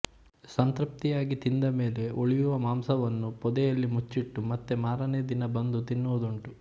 ಸಂತೃಪ್ತಿಯಾಗಿ ತಿಂದ ಮೇಲೆ ಉಳಿಯುವ ಮಾಂಸವನ್ನು ಪೊದೆಯಲ್ಲಿ ಮುಚ್ಚಿಟ್ಟು ಮತ್ತೆ ಮಾರನೆಯ ದಿನ ಬಂದು ತಿನ್ನುವುದುಂಟು